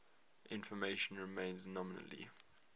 information remains nominally